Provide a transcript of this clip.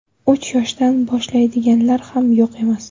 Uch yoshdan boshlaydiganlar ham yo‘q emas.